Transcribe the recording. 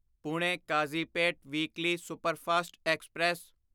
Pune Kazipet weekly superfast express